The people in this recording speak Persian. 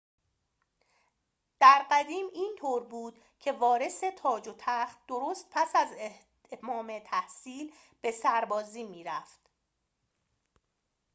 در قدیم اینطور بود که وارث تاج و تخت درست پس از اتمام تحصیل به سربازی می‌رفت